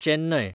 Chennai